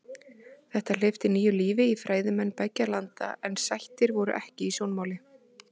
Þetta hleypti nýju lífi í fræðimennsku beggja landa en sættir voru ekki í sjónmáli.